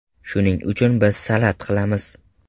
Shuning uchun biz salat qilamiz.